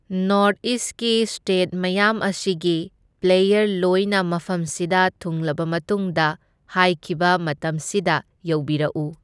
North ꯏꯁꯀꯤ state ꯃꯌꯥꯝ ꯑꯁꯤꯒꯤ ꯄ꯭ꯂꯦꯌꯔ ꯂꯣꯏꯅ ꯃꯐꯝꯁꯤꯗ ꯊꯨꯡꯂꯕ ꯃꯇꯨꯡꯗ ꯍꯥꯏꯈꯤꯕ ꯃꯇꯝꯁꯤꯗ ꯌꯧꯕꯨꯔꯛꯎ꯫